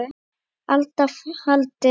alda faldi